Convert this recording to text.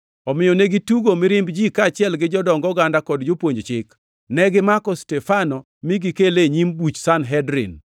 Omiyo negitugo mirimb ji kaachiel gi jodong oganda kod jopuonj chik. Negimako Stefano mi gikele e nyim buch Sanhedrin.